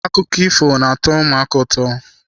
Akụkọ ifo na-atọ ụmụaka ụtọ.